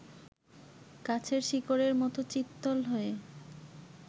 গাছের শিকড়ের মতো চিত্রল হয়ে